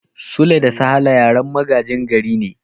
Suleiman da Salaha yaran magajin gari ne.